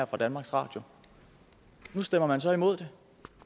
fra danmarks radio nu stemmer man så imod det